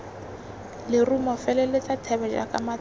lerumo feleletsa thebe jaaka matshwao